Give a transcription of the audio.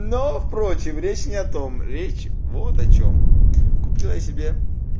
но впрочем речь не о том речь вот о чем купил я себе